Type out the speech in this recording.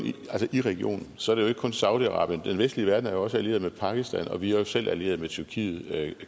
i regionen så er det jo ikke kun saudi arabien den vestlige verden er jo også allieret med pakistan og vi er jo selv allieret med tyrkiet